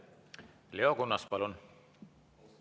Leo Kunnas, palun!